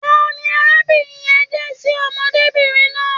Tani arábìnrin yẹ̀n jẹ ṣi ọmọdébinrin náà?